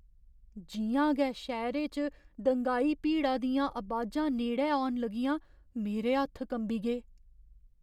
जि'यां गै शैह्‌रे च दंगाई भीड़ा दियां अबाजां नेड़ै औन लगियां, मेरे हत्थ कंबी गे।